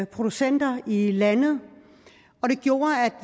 producenter i landet og det gjorde at